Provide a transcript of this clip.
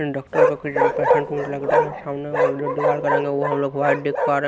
Doctor का कुछ patient um लग रहा है। सामने वो जो दीवार का रंग है वो हम लोग व्हाइट देख पा रहे है।